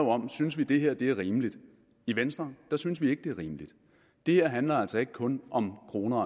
om synes vi det her er rimeligt i venstre synes vi ikke det er rimeligt det her handler altså ikke kun om kroner og